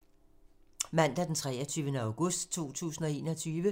Mandag d. 23. august 2021